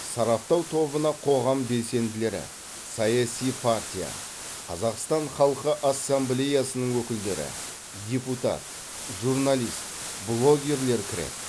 сараптау тобына қоғам белсенділері саяси партия қазақстан халқы ассамблеясының өкілдері депутат журналист блогерлер кіреді